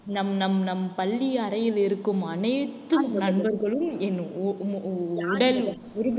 நம் நம் நம் பள்ளி அறையில் இருக்கும் அனைத்து நண்பர்களும் என் உ~உ~ உடல் உறுப்புகள்